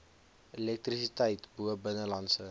elektrisiteit bo binnelandse